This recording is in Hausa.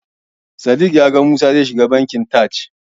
Sadiq ya faɗa min cewa ya ga Musa zai shiga Bankin Taj.